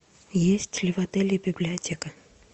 есть ли в отеле библиотека